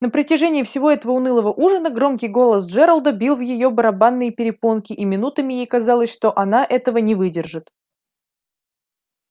на протяжении всего этого унылого ужина громкий голос джералда бил в её барабанные перепонки и минутами ей казалось что она этого не выдержит